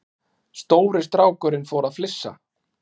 Stóri strákurinn fór að flissa.